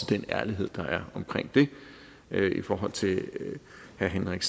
den ærlighed der er omkring det i forhold til herre henrik